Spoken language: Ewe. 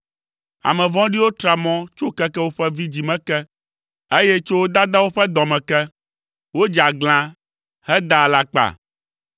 Ame vɔ̃ɖiwo tra mɔ tso keke woƒe vidzĩ me ke, eye tso wo dadawo ƒe dɔ me ke, wodze aglã, hedaa alakpa.